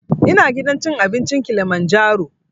Ina gidan cin abinci kilimanjaro